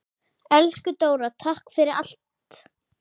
Elsku Dóra, takk fyrir allt.